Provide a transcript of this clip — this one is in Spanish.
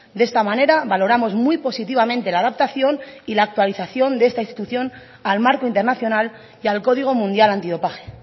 de esta manera valoramos muy positivamente la adaptación y la actualización de esta institución al marco internacional y al código mundial antidopaje